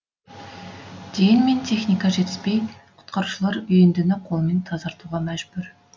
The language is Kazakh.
дегенмен техника жетіспей құтқарушылар үйіндіні қолмен тазартуға мәжбүр